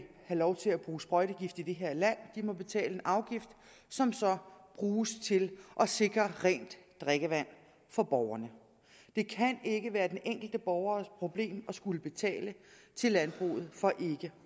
have lov til at bruge sprøjtegift i det her land må betale en afgift som så bruges til at sikre rent drikkevand for borgerne det kan ikke være den enkelte borgers problem at skulle betale til landbruget for ikke